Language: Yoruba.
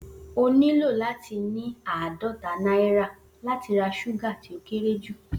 O nílò láti ní àádọ́ta náírà láti ra súgà ti o kéré ju